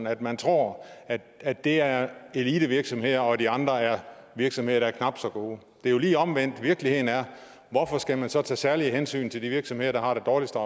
at man tror at det er elitevirksomheder og at de andre er virksomheder der er knap så gode det er jo lige omvendt af hvad virkeligheden er hvorfor skal man så tage særlige hensyn til de virksomheder der har det dårligste